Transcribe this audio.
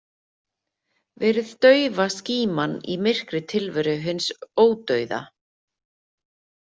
Verið daufa skíman í myrkri tilveru hins ódauða.